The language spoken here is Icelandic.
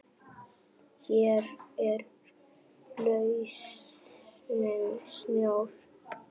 Hér er lausnin sjór.